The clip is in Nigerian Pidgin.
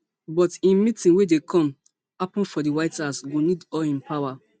but im meeting wey dey come happun for di white house go need all im power